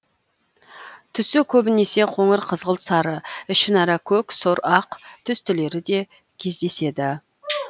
түсі көбінесе қоңыр қызғылт сары ішінара көк сұр ақ түстілері де кездеседі